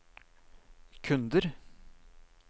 kunder